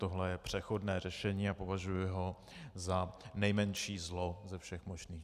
Tohle je přechodné řešení a považuji ho za nejmenší zlo ze všech možných.